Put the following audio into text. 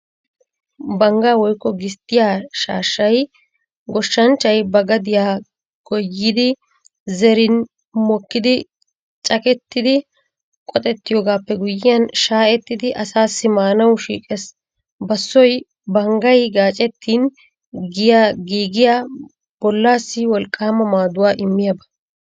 Banggaa woykko gisttiyaa shaashshay goshshanchay ba gadiyaa goyyidi zerin mokkidi cakkettidi qoxettoigaappe guyyiyaan shaa'ettidi asaassi maanawu shiiqees. Basoy banggay gaacettin giigiyaa bollaassi wolqqaama maaduwaa immiyaaba.